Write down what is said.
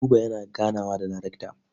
Buba yana ganawa da darekta.